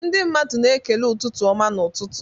Ndị mmadụ na-ekele ụtụtụ ọma n'ụtụtụ.